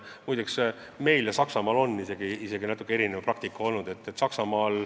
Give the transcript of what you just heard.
Muide, meil ja näiteks Saksamaal on olnud natuke erinev praktika.